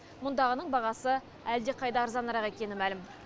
мұндағының бағасы әлдеқайда арзанырақ екені мәлім